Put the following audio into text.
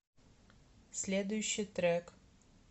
следующий трек